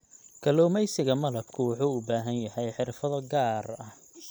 Kalluumeysiga Malabka wuxuu u baahan yahay xirfado gaar ah.